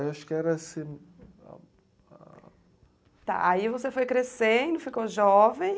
Eu acho que era assim, ah, ah... Tá, aí você foi crescendo, ficou jovem.